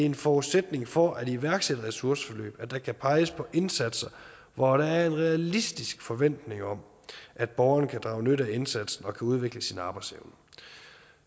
en forudsætning for at iværksætte ressourceforløb at der kan peges på indsatser hvor der er en realistisk forventning om at borgeren kan drage nytte af indsatsen og kan udvikle sin arbejdsevne